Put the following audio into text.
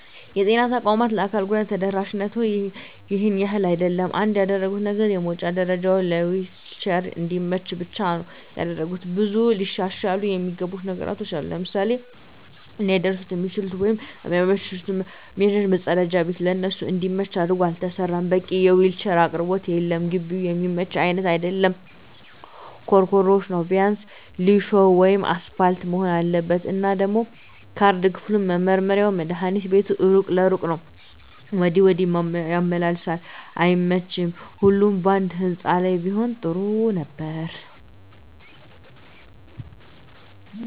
የጤና ተቋማት ለአካል ጉዳተኞች ተደራሽነቱ ይሄን ያህል አይደለም። አንድ ያደረጉት ነገር የመዉጫ ደረጀዉ ለዊልቸር እንዲመች ብቻ ነዉ ያደረጉት። ብዙ ሊሻሻሉ እሚገባቸዉ ነገሮች አሉ፤ ለምሳሌ ሊደርሱበት እሚችሉት ወይም እሚመቻቸዉ መፀዳጃ ቤት ለነሱ እንዲመች አድርጎ አልተሰራም፣ በቂ የዊልቸር አቅርቦት የለም፣ ግቢዉም እሚመች አይነት አይደለም ኮሮኮንች ነዉ ቢያንስ ሊሾ ወይም አሰፓልት መሆን አለበት። እና ደሞ ካርድ ክፍሉም፣ መመርመሪያዉም፣ መድሀኒት ቤቱም እሩቅ ለእሩቅ ነዉ ወዲያ ወዲህ ያመላልሷቸዋል እና አይመቺም ሁሉም ባንድ ህንፃ ላይ ቢሆን ግን ጥሩ ነበር።